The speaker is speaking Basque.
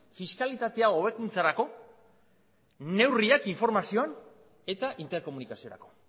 fiskalidadea hobekuntzarako neurriak informazioan eta interkomunikaziorako